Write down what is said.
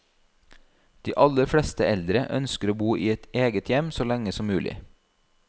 De aller fleste eldre ønsker å bo i eget hjem så lenge som mulig.